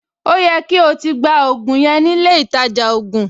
Ó yẹ kí o ti gba ògùn yẹn nílé ìtajà ògùn!